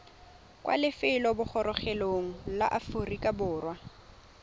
kwa lefelobogorogelong la aforika borwa